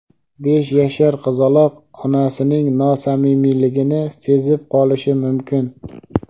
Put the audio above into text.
besh yashar qizaloq onasining nosamimiyligini sezib qolishi mumkin.